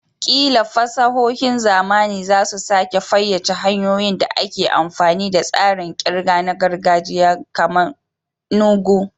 Ƙila fasahohin zamani za su sake fayyace hanyoyin da ake amfani da tsarin ƙirga na gargajiya kamar "nu ego".